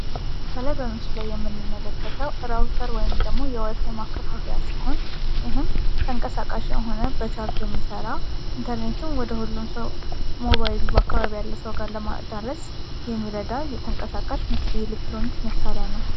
ከላይ የምንመለከተው ራውተር ወይም ደግሞ የዋይፋይ ማከፋፈያ ሲሆን ይህም ተንቀሳቃሽ የሆነ በቻርጅ የሚሠራ ኢንተርኔትን ወደ ሁሉም ሰው ሞባይል በአካባቢው ያለሰው ካለ ማዳረስ የተንቀሳቃሽ የኤሌክትሮኒክስ መሳሪያ ነው።